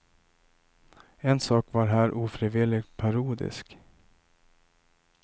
En sak var här ofrivilligt parodisk.